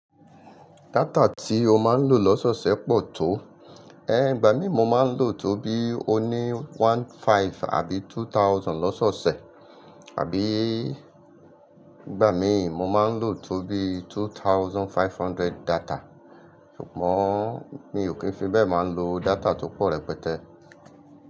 Data tí ó máa ń lò lọ́sọ̀ọ̀sẹ̀ pọ̀ tó? Igbà mi mo máa ń lò tó bí oní one thousand five hundred àbí two thousand lọ́sọ̀ọ̀sẹ̀. Àbí ìgbà mi mo máa ń lò tó bí two thousand five hundred data. Ṣùgbọ́n mi o kii fi bẹ́ẹ̀ máa ń lo data tó pọ̀ rẹpẹtẹ.